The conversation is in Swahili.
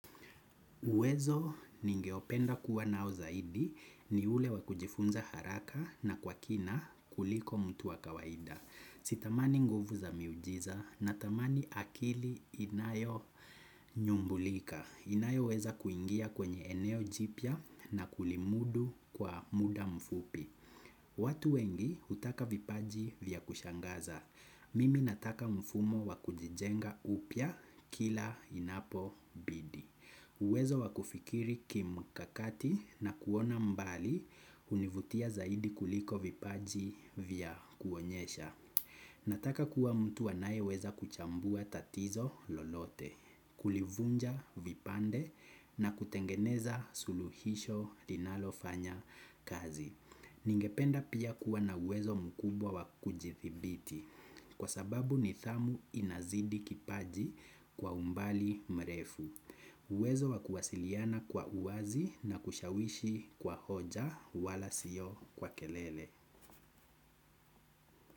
Uwezo ningeopenda kuwa nao zaidi ni ule wakujifunza haraka na kwa kina kuliko mtu wa kawaida. Sitamani nguvu za miujiza na tamani akili inayo nyumbulika. Inayo weza kuingia kwenye eneo jipya na kulimudu kwa muda mfupi. Watu wengi hutaka vipaji vya kushangaza. Mimi nataka mfumo wakujijenga upya kila inapo bidi. Uwezo wakufikiri ki mkakati na kuona mbali hunivutia zaidi kuliko vipaji vya kuonyesha. Nataka kuwa mtu anaye weza kuchambua tatizo lolote, kulivunja vipande na kutengeneza suluhisho linalofanya kazi. Ningependa pia kuwa na uwezo mkubwa wakujithibiti kwa sababu nidhamu inazidi kipaji kwa umbali mrefu. Uwezo wa kuwasiliana kwa uwazi na kushawishi kwa hoja wala sio kwa kelele.